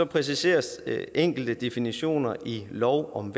præciseres enkelte definitioner i lov om